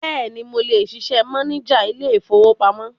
Bẹ́ẹ̀ni, mo lè ṣiṣẹ́ máníjà ilé-ìfowópamọ́.